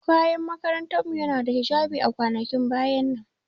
Kayan makarantar mu yana da hijabi a kwanakin baya nan.